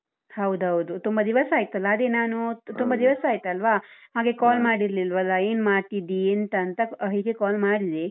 ಹೌದೌದು ತುಂಬಾ ದಿವಸ ಆಯ್ತಲ್ಲ ಅದೇ ನಾನು ತುಂಬಾ ದಿವಸ ಆಯ್ತಲ್ವಾ ಹಾಗೆ call ಮಾಡಿರ್ಲಿಲ್ವಲ್ಲ ಏನ್ ಮಾಡ್ತಿದ್ದಿ ಎಂತ ಅಂತ ಅಹ್ ಹೀಗೆ call ಮಾಡಿದೆ.